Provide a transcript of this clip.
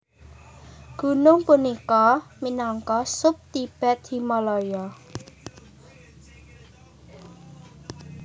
Gunung punika minangka sub Tibet Himalaya